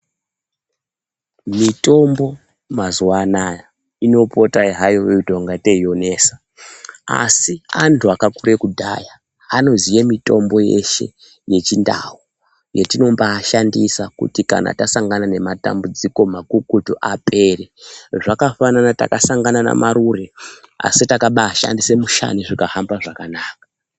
Mitombo mazuwa anaa inopota hayo yeitongatei inonesa asi antu akakura kudhaya anoziye mitombo yeshe yechindau yatino mbaashandisa kuti kana tasangana nematambudziko makukutu apere zvakafanana takasangana naMarure asi takaba ashandisa mushani zvikahamba zvakanaka.